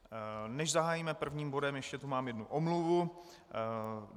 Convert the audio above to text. Než zahájíme prvním bodem, ještě tu mám jednu omluvu.